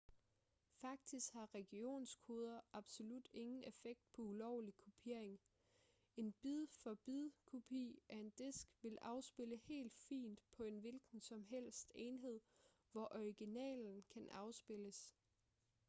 faktisk har regionskoder absolut ingen effekt på ulovlig kopiering en bid-for-bid-kopi af en disk vil afspille helt fint på en hvilken som helst enhed hvor originalen kan afspilles